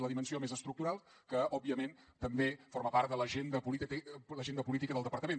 la dimensió més estructural que òbviament també forma part de l’agenda política del departament